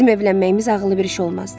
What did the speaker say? Bizim evlənməyimiz ağıllı bir iş olmazdı.